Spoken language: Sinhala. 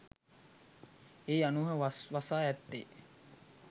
ඒ අනුව වස් වසා ඇත්තේ